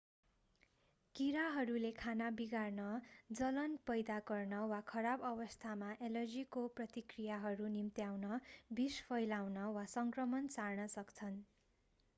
कीराहरूले खाना बिगार्न जलन पैदा गर्न वा खराब अवस्थामा एलर्जीको प्रतिक्रियाहरू निम्त्याउन विष फैलाउन वा सङ्क्रमण सार्न सक्छन्